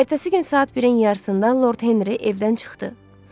Ertəsi gün saat 1-in yarısında Lord Henri evdən çıxdı.